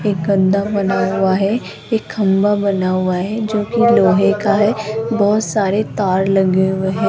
एक बना हुआ है एक खंभा बना हुआ है जो की लोहे का है बहुत सारे तार लगे हुए हैं।